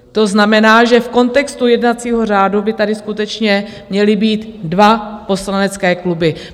To znamená, že v kontextu jednacího řádu by tady skutečně měly být dva poslanecké kluby.